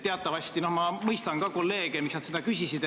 Ma mõistan ka kolleege, miks nad seda küsisid.